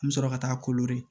An bɛ sɔrɔ ka taa